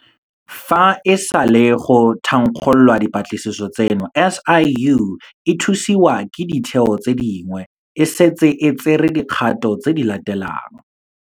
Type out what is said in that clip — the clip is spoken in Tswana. Fa e sale go thankgololwa dipatlisiso tseno, SIU, e thusiwa ke ditheo tse dingwe, e setse e tsere dikgato tse di latelang